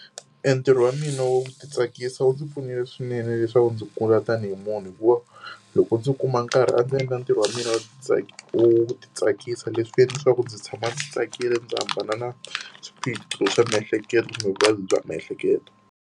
E ntirho wa mina wu ti tsakisa wu ndzi pfunile swinene leswaku ndzi kula tanihi munhu, hikuva loko ndzi kuma nkarhi a ndzi endla ntirho wa mina wu ti wu ti tsakisa. Leswi endla leswaku ndzi tshama ndzi tsakile ndzi hambana na swiphiqo swa miehleketo, vuvabyi bya miehleketo.